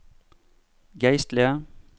geistlige